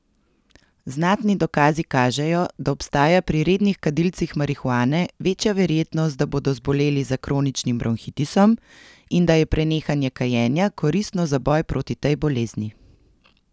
Znatni dokazi kažejo, da obstaja pri rednih kadilcih marihuane večja verjetnost, da bodo zboleli za kroničnim bronhitisom, in da je prenehanje kajenja koristno za boj proti tej bolezni.